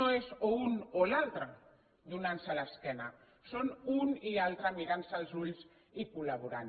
no és o un o l’altre donant se l’esquena són un i altre mirant se als ulls i col·laborant